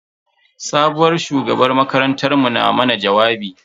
Sabuwar shugabar makarantar mu na mana jawabi.